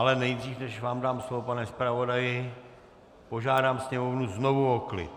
Ale nejdřív, než vám dám slovo, pane zpravodaji, požádám Sněmovnu znovu o klid.